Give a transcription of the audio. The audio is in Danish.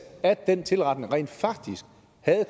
at den tilretning rent faktisk